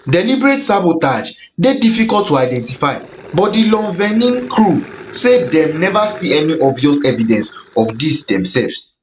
deliberate sabotage dey difficult to identify but di lon thvenin crew say dem never see any obvious evidence of dis demsefs